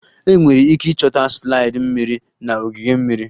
Enwere ike ịchọta slide mmiri na ogige mmiri